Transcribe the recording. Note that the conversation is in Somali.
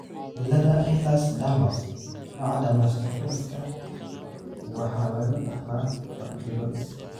cilada Ehlers Danlos , nooca dermatosparaxis waxaa lagu dhaxlaa hab dib-u-dhis ah.